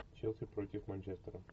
челси против манчестера